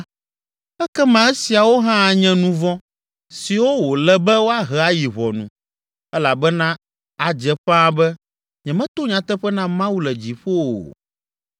ekema esiawo hã anye nu vɔ̃ siwo wòle be woahe ayi ʋɔnu, elabena adze ƒãa be nyemeto nyateƒe na Mawu le dziƒo o.